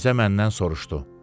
Mirzə məndən soruşdu: